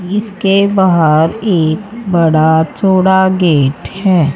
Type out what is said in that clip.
इसके बाहर एक बड़ा चौड़ा गेट है।